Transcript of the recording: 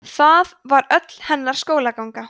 það var öll hennar skólaganga